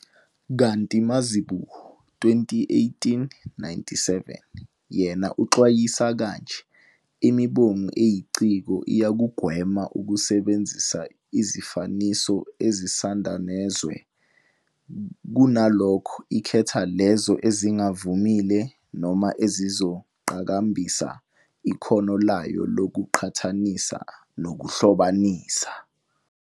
Kanti Mazibuko, 2018- 97, yena uxwayisa kanje- "Imbongi eyiciko iyakugwema ukusebenzisa izifaniso ezingusandanezwe, kunalokho ikhetha lezo ezingavamile noma ezizoqhakambisa ikhono layo lokuqhathanisa nokuhlobanisa."